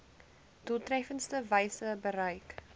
doeltreffendste wyse bereik